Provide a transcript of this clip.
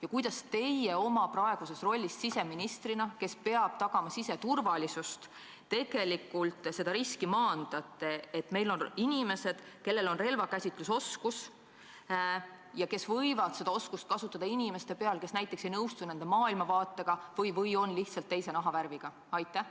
Ja kuidas teie oma praeguses rollis siseministrina, kes peab tagama siseturvalisust, tegelikult maandate riski, et meil on inimesed, kes oskavad relva käsitseda ja kes võivad seda oskust kasutada inimeste peal, kes näiteks ei nõustu nende maailmavaatega või on lihtsalt teise nahavärviga?